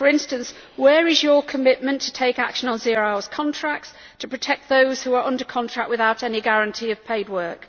For instance, where is your commitment to take action on zero hour contracts, to protect those who are under contract without any guarantee of paid work?